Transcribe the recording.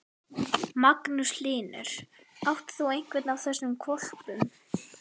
Magnús Hlynur: Átt þú einhvern af þessum hvolpum?